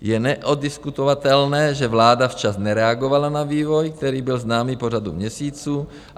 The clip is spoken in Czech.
Je neoddiskutovatelné, že vláda včas nereagovala na vývoj, který byl známý po řadu měsíců.